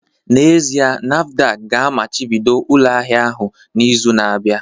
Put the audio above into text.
N'ezie, NAFDAC ga-amachibido ụlọ ahịa ahụ n'izu na-abịa